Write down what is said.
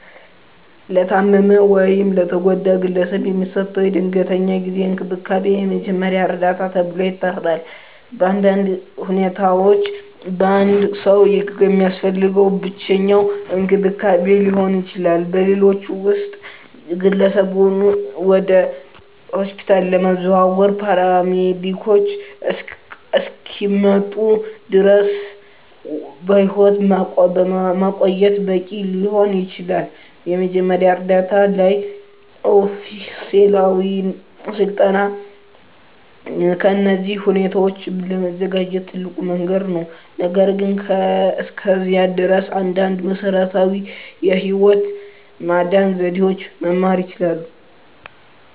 ለታመመ ወይም ለተጎዳ ግለሰብ የሚሰጠው የድንገተኛ ጊዜ እንክብካቤ የመጀመሪያ እርዳታ ተብሎ ይጠራል. በአንዳንድ ሁኔታዎች አንድ ሰው የሚያስፈልገው ብቸኛው እንክብካቤ ሊሆን ይችላል, በሌሎች ውስጥ, ግለሰቡን ወደ ሆስፒታል ለማዘዋወር ፓራሜዲኮች እስኪመጡ ድረስ በሕይወት ማቆየት በቂ ሊሆን ይችላል. የመጀመሪያ ዕርዳታ ላይ ኦፊሴላዊ ሥልጠና ለእነዚህ ሁኔታዎች ለመዘጋጀት ትልቁ መንገድ ነው, ነገር ግን እስከዚያ ድረስ, አንዳንድ መሰረታዊ የህይወት ማዳን ዘዴዎችን መማር ይችላሉ።